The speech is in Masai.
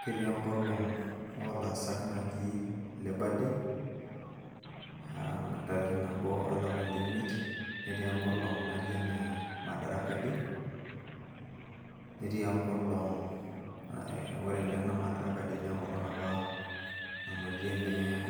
Ketii enkolong' olaasak naji Labour day, ah entariki nabo olapa leimiet, netii enkolong' naji ene Madaraka day, netii enkolong' eh ore naa ene Madaraka day na enkolong' apa nanotie na eh